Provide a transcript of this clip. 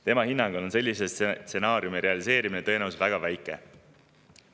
Tema hinnangul on sellise stsenaariumi realiseerumise tõenäosus väga väike.